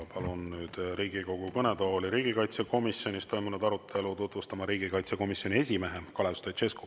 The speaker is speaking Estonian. Palun nüüd Riigikogu kõnetooli riigikaitsekomisjonis toimunud arutelu tutvustama riigikaitsekomisjoni esimehe Kalev Stoicescu.